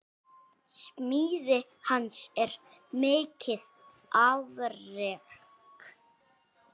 Smíði hans er mikið afrek.